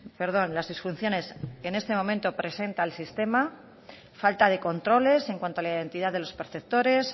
perdón las disfunciones que en este momento presenta el sistema falta de controles en cuanto a la identidad de los perceptores